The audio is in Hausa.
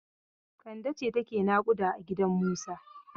Kande ce take naƙuda a gidan Musa.